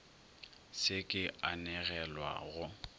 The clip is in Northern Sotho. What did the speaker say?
se ke a anegelwa go